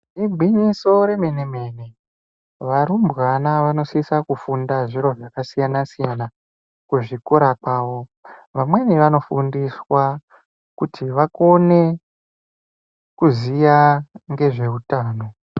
Igwinyiso remene-mene varumbwana vanosisa kufunda zviro zvakasiyana-siyana kuzvikora kwawo. Vamweni vanofundiswa kuti vakone kuziya ngezvehutano.